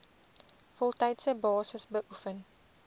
voltydse basis beoefen